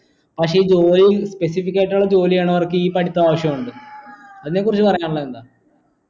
പക്ഷേ ഈ ജോലിയും ഉള്ള ജോലി ചെയ്യണവർക് ഈ പഠിത്തം ആവിശ്യമുണ്ട് അതിനെ കുറിച്ച് പറയാനുള്ളത് എന്താ